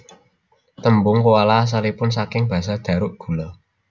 Tembung koala asalipun saking basa Dharuk gula